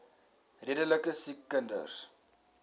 redelike siek kinders